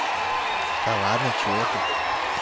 да ладно чего ты